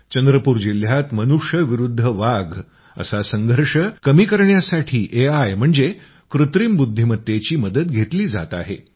चंद्रपूर जिल्ह्यात मनुष्य विरुद्ध वाघ असा संघर्ष कमी करण्यासाठी एआय म्हणजे कृत्रिम बुद्धिमत्तेची मदत घेतली जात आहे